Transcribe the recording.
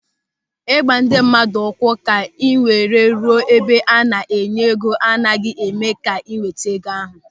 Ịgba ndị mmadụ ụkwụ ka ị were ruo n'ebe a na-enye ego agaghị eme ka ị nweta ego ahụ.